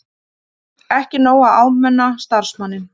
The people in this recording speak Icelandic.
Ekki nóg að áminna starfsmanninn